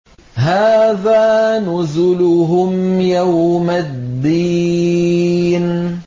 هَٰذَا نُزُلُهُمْ يَوْمَ الدِّينِ